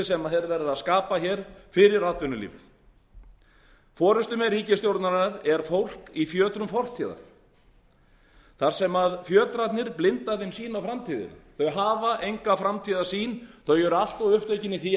verið að skapa fyrir atvinnulíf forustumenn ríkisstjórnarinnar er fólk í fjötrum fortíðar þar sem fjötrarnir blinda þeim sýn á framtíðina þau hafa enga framtíðarsýn þau eru allt of upptekin í því að